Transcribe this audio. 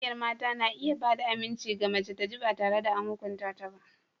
Ƙungiyar mata na iya ba da aminci ga mace ta ji ba tare da an hukunta ta ba.